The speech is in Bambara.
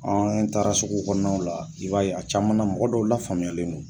An taara sugu kɔnɔw la, i b'a a caman na mɔgɔ dɔw lafaamuyalen non